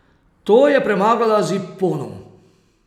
To je premagala z ipponom.